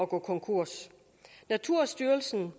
gå konkurs naturstyrelsen